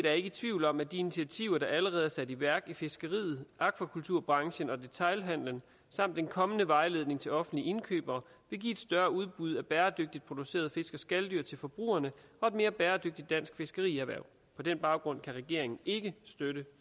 er ikke i tvivl om at de initiativer der allerede er sat i værk i fiskeriet akvakulturbranchen og detailhandelen samt den kommende vejledning til offentlige indkøbere samlet vil give et større udbud af bæredygtigt producerede fisk og skaldyr til forbrugerne og et mere bæredygtigt dansk fiskerierhverv på den baggrund kan regeringen ikke støtte